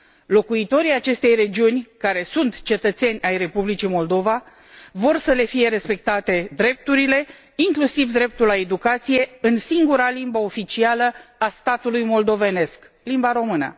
Locuitorii acestei regiuni, care sunt cetățeni ai Republicii Moldova, vor să le fie respectate drepturile, inclusiv dreptul la educație în singura limbă oficială a statului moldovenesc, limba română.